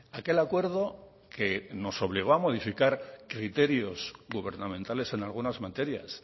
aquel acuerdo que nos obligó a modificar criterios gubernamentales en algunas materias